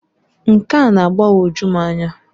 Nke a na-agbagoju m anya.